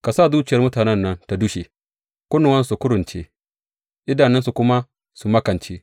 Ka sa zuciyar mutanen nan ta dushe; kunnuwansu su kurunce, idanunsu kuma su makance.